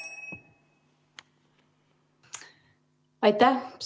Aitäh!